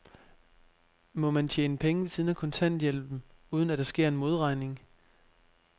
Må man tjene penge ved siden af kontanthjælpen, uden at der sker en modregning?